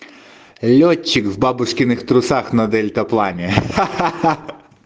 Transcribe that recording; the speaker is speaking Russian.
лётчик в бабушкиных трусах на дельтаплане ха-ха-ха